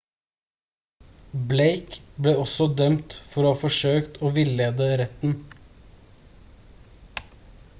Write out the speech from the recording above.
blake ble også dømt for å ha forsøkt å villede retten